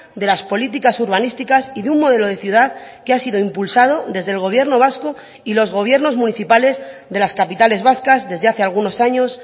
de las políticas urbanísticas y de un modelo de ciudad que ha sido impulsado desde el gobierno vasco y los gobiernos municipales de las capitales vascas desde hace algunos años